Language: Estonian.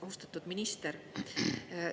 Austatud minister!